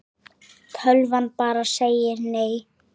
Tölvan bara segir nei.